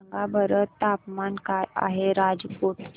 सांगा बरं तापमान काय आहे राजकोट चे